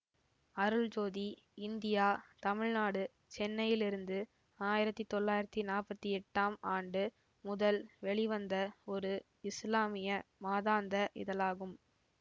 Aruljothi India Tamil Nadu சென்னையிலிருந்து ஆயிரத்தி தொள்ளாயிரத்தி நாப்பத்தி எட்டாம் ஆண்டு முதல் வெளிவந்த ஒரு இஸ்லாமிய மாதாந்த இதழாகும்